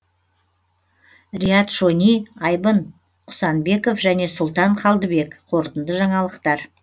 риат шони айбын құсанбеков және сұлтан қалдыбек қорытынды жаңалықтар